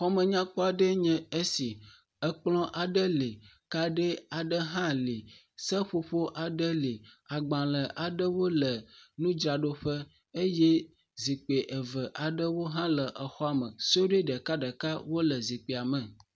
Xɔme nyakpɔ aɖee nye esi, ekplɔ aɖe li kadi aɖe hã li seƒoƒo aɖe li agbalẽ aɖewo le nudraɖoƒe eye zikpui eve aɖewo hã le exɔa me suɖui eve aɖewo hã le xɔa me.